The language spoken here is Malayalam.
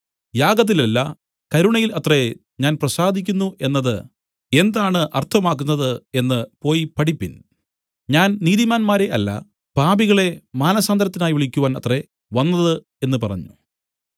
യാഗത്തിലല്ല കരുണയിൽ അത്രേ ഞാൻ പ്രസാദിക്കുന്നു എന്നത് എന്താണ് അർത്ഥമാക്കുന്നത് എന്നു പോയി പഠിപ്പിൻ ഞാൻ നീതിമാന്മാരെ അല്ല പാപികളെ മാനസാന്തരത്തിനായി വിളിക്കുവാൻ അത്രേ വന്നത് എന്നു പറഞ്ഞു